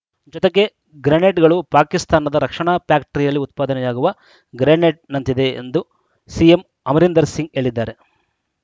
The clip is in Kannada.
ಜೊತೆಗೆ ಗ್ರೆನೇಡ್‌ಗಳು ಪಾಕಿಸ್ತಾನದ ರಕ್ಷಾಣಾ ಫ್ಯಾಕ್ಟರಿಯಲ್ಲಿ ಉತ್ಪಾದನೆಯಾಗುವ ಗ್ರೆನೇಡ್‌ನಂತಿದೆ ಎಂದ ಸಿಎಂ ಅಮರೀಂದರ್‌ ಸಿಂಗ್‌ ಹೇಳಿದ್ದಾರೆ